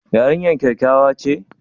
Yarinyar kyakkyawa ce?